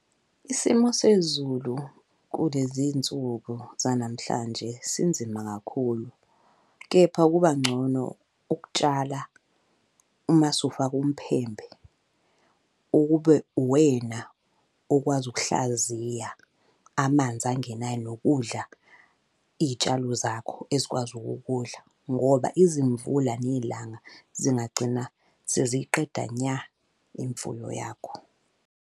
Isimo sezulu kulezi nsuku zanamhlanje sinzima kakhulu, kepha kuba ngcono ukutshala uma usufake umphembe. Ukube uwena okwazi ukuhlaziya amanzi angenayo nokudla iy'tshalo zakho ezikwazi ukukudla, ngoba izimvula nelanga zingagcina seziyiqeda nya imfuyo yakho.